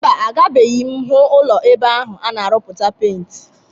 Mba, agabeghi m hụ ụlọ ebe ahụ a na-arụputa penti.